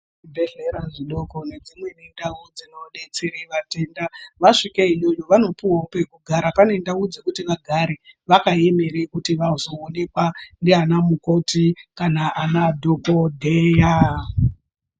Zvibhehlera zvidoko nedzimweni ndau dzinodetsere vatenda vasvike iyoyo vanopuwawo pekugara pane ndau dzekuti vagare vakaemere kuti vazonekwa nanamukoti kana anadhokodheya.